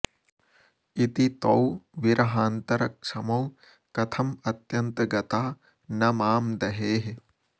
इति तौ विर्हान्तरक्षमौ कथं अत्यन्तगता न मां दहेः